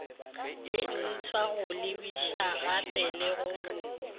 lentshwa go lebišagape le go